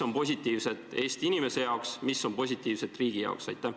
Mida positiivset on selles Eesti inimese jaoks, mida positiivset on selles riigi jaoks?